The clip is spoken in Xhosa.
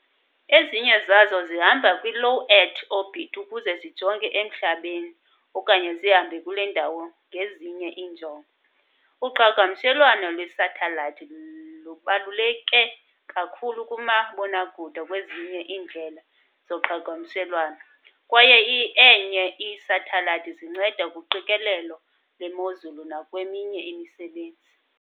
Ezinye zazo zihamba kwi-Low Earth orbit ukuze zijonge emhlabeni okanye zihamba kule ndawo ngezinye iinjongo. Uqhagamshelwano lwe-satellite lubaluleke kakhulu kumabonakude nakwezinye iindlela zoqhagamshelwano, kwaye eainye ii-satellites zinceda kuqikelelo lwemozulu nakweminye imisebenzi